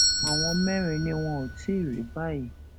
àwọn mẹrin ni wọn ò tí ì rí báyìí